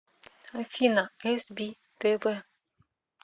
афина эс би тэ вэ